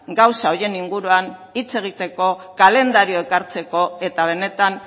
gauza horien inguruan hitz egiteko kalendariok hartzeko eta benetan